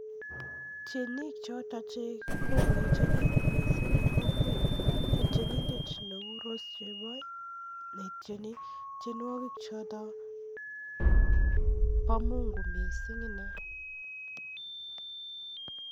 Tienik chotok chekokoechekitun missing en kokwenyon ko cheu Rose Cheboi ak tienindet nebo Mungu missing inei.